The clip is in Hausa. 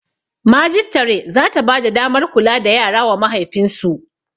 Majistare zata bada damar kula da yara wa mahaifin su